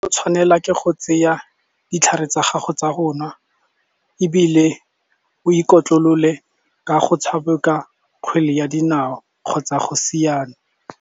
o tshwanela ke go tseya ditlhare tsa gago tsa go nwa ebile o ikotlolole ka go tshameka kgwele ya dinao kgotsa go siana.